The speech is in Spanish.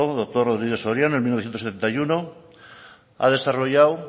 doctor rodríguez soriano en mil novecientos setenta y uno ha desarrollado